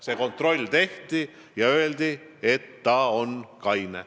Tehti kontroll ja öeldi, et ta oli kaine.